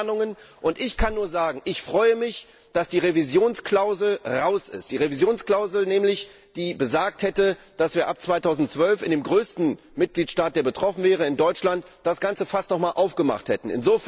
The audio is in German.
Es gab Planungen, und ich kann nur sagen Ich freue mich, dass die Revisionsklausel raus ist, die besagt hätte, dass wir ab 2012 in dem größten Mitgliedstaat, der betroffen wäre, in Deutschland, das ganze Fass noch einmal aufgemacht hätten.